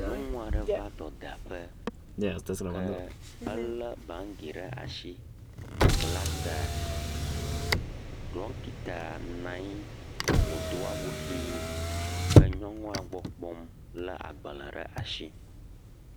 Nyɔnu aɖe va dɔdaƒe ke ele bagi ɖe asi. Wobla ta. Ɖɔkita nɔ anyi wodo awu ʋi he nyɔnua gbɔ kpɔm le agbale ɖe asi.